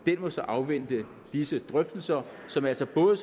må så afvente disse drøftelser som altså både